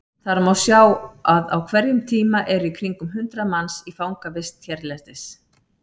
Þar má sjá að á hverjum tíma eru í kringum hundrað manns í fangavist hérlendis.